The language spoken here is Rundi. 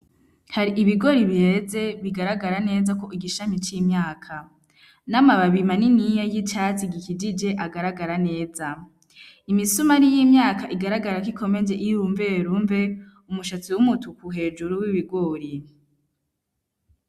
Hari ibigori bireze bigaragara neza ku gishami c'imyaka, n'amababi maniniya y'icatsi gikijije agaragara neza, imisumari y'imyaka igaragara ko ikomeje iyirumverumve umushatsi w'umutuku hejuru wibigori.